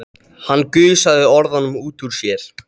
Hann gusaði orðunum út úr sér.